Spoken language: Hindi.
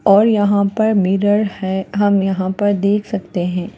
और यहाँ पर मिरर है हम यहाँ पर देख सकते हैं।